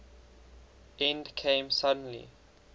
end came suddenly